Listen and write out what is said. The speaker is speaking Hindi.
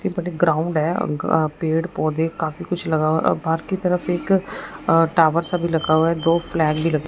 ग्राउंड है अ पेड़ पौधे काफी कुछ लगा हुआ अ पार्क की तरफ एक टावर सा भी लगा हुआ है दो फ्लैग भी लगे --